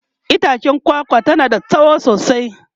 itchen kwakwa tana da tsawo sosai